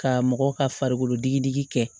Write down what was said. Ka mɔgɔ ka farikolo digi digi kɛ